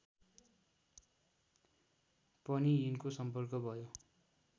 पनि यिनको सम्पर्क भयो